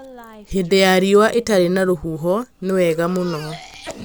hĩndĩ ya riũa ĩtarĩ na rũhuho nĩ wega mũno